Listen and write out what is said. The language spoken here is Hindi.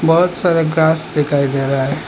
बहुत सारा ग्रास दिखाई दे रहा है।